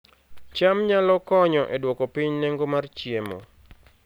cham nyalo konyo e duoko piny nengo mar chiemo